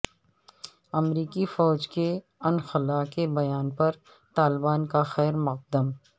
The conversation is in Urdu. امریکی فوج کے انخلا کے بیان پر طالبان کا خیرمقدم